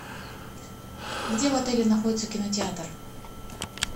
где в отеле находится кинотеатр